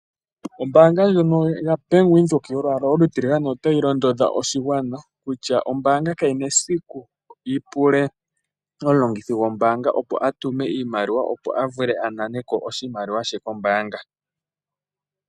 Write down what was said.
Ombaanga ndjono yaBank windhoek yolwala olu tiligane, otayi londodha oshigwana kutya ombaanga kayina esiku yipule omulongithi gwombaanga a tume oshimaliwa, opo a vule a nane ko oshimaliwa she kombaanga.